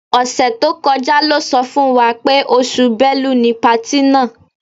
Ọ̀sẹ̀ tó kọjá lọ́ sọ fún wa pé oṣù Bẹ́lu ni patí náà.